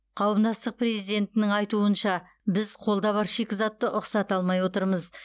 қауымдастық президентінің айтуынша біз қолда бар шикізатты ұқсата алмай отырмыз